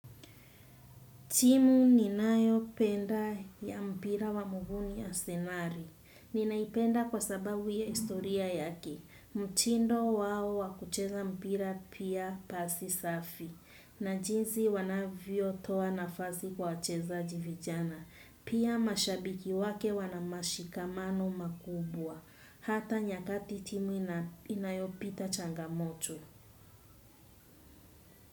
Timu ninayopenda ya mpira wa muguu ni asenari. Ninaipenda kwa sababu ya istoria yake. Mtindo wao wa kucheza mpira pia pasi safi. Na jinsi wanavyotoa nafasi kwa wachezaji vijana. Pia mashabiki wake wana mashikamano makubwa. Hata nyakati timu inayopita changamoto.